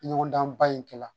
Ɲɔgɔndan ba in kɛla